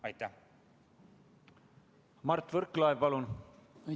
Mart Võrklaev, palun!